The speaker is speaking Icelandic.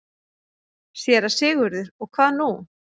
SÉRA SIGURÐUR: Og hvað nú?